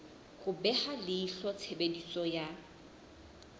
ho beha leihlo tshebediso ya